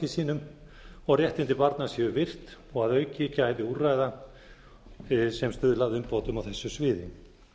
sínum og réttindi barna séu virt og að auki gæði úrræða sem stuðla að umbótum á þessu sviði